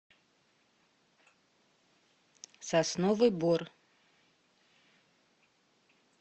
сосновый бор